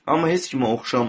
Amma heç kimə oxşama.